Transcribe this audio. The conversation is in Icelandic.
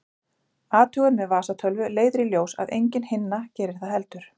Athugun með vasatölvu leiðir í ljós að engin hinna gerir það heldur.